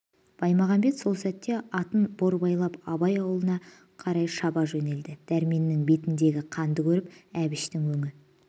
баймағамбет сол сәтте атын борбайлап абай аулына қарай шаба жөнелді дәрменнің бетіндегі қанды көріп әбіштің өңі